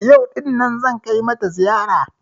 Yau ɗin nan zan kai mata ziyara